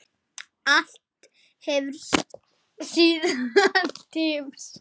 Allt hefur sinn tíma.